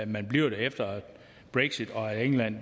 man bliver der efter brexit og england